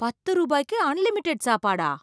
பத்து ரூபாய்க்கு அன்லிமிடெட் சாப்பாடா!